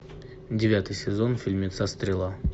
девятый сезон фильмеца стрела